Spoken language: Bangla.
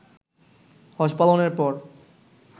হজ পালনের পর